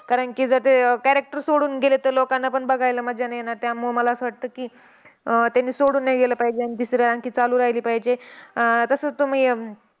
आपल्याला म्हजे काय बऱ्याचश्या लोकांना समजत पण नाय आपण कशासाठी आ काय करतोय फक्त app open होत नाही त्याच्यासाठी ज्या गोष्टी मागतातेत आपण त्याच्यावर फक्त होय होय करत जातो.